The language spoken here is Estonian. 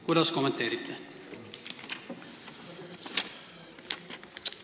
Kuidas kommenteerite?